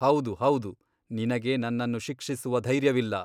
ಹೌದು ಹೌದು ನಿನಗೆ ನನ್ನನ್ನು ಶಿಕ್ಷಿಸುವ ಧೈರ್ಯವಿಲ್ಲ.